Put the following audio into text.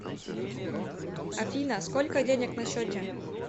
афина сколько денег на счете